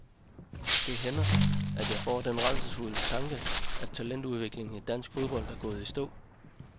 Det hænder, at jeg får den rædselsfulde tanke, at talentudviklingen i dansk fodbold er gået i stå.